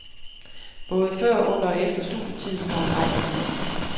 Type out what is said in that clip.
Både før, under og efter studietiden har hun rejst en masse.